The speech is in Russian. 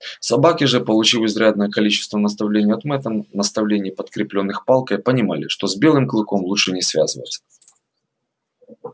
собаки же получив изрядное количество наставлений от мэтта наставлений подкреплённых палкой понимали что с белым клыком лучше не связываться